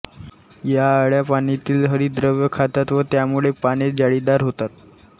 या अळ्या पानातील हरितद्रव्य खातात व त्यामुळे पाने जाळीदार होतात